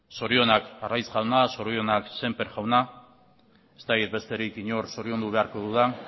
zorionak arraiz jauna zorionak sémper jauna ez dakit besterik inor zoriondu beharko dudan